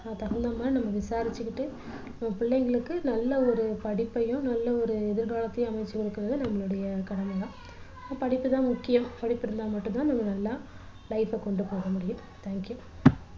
அதுக்கு தகுந்த மாதிரி நம்ம விசாரிச்சுகிட்டு நம்ம பிள்ளைங்களுக்கு நல்ல ஒரு படிப்பையும் நல்ல ஒரு எதிர்காலத்தையும் அமைச்சு கொடுக்குறது நம்மளுடைய கடமை தான் படிப்பு தான் முக்கியம் படிப்பு இருந்தா மட்டும்தான் நம்ம நல்லா life அ கொண்டு போக முடியும் thank you